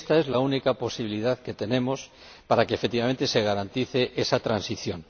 Esta es la única posibilidad que tenemos para que efectivamente se garantice esa transición.